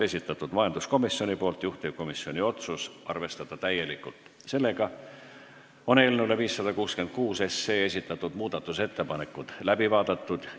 Eelnõu 566 muudatusettepanekud on läbi vaadatud.